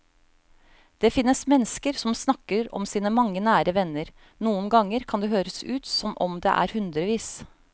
Det finnes mennesker som snakker om sine mange nære venner, noen ganger kan det høres ut som om det er hundrevis.